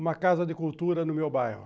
Uma casa de cultura no meu bairro.